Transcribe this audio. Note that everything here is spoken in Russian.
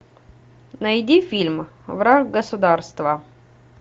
найди фильм враг государства